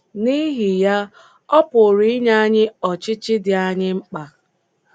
N'ihi ya, ọ pụrụ inye anyị ọchịchị dị anyị mkpa!